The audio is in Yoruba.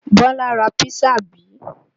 Bọ́lá ra písà bí?